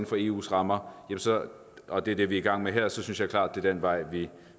for eus rammer og det er det vi er i gang med her så synes jeg klart er den vej vi